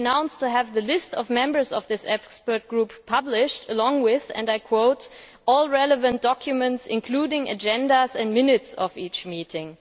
He announced he would have the list of members of this expert group published along with all relevant documents, including agendas and minutes of each meeting'.